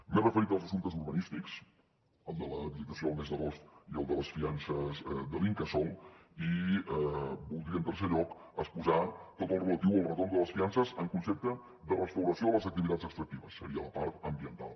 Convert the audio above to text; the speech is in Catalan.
m’he referit als assumptes urbanístics al de l’habilitació del mes d’agost i al de les fiances de l’incasòl i voldria en tercer lloc exposar tot el relatiu al retorn de les fiances en concepte de restauració de les activitats extractives seria la part ambiental